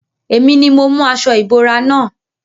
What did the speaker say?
Èmi ni mo mú aṣo ìbora na.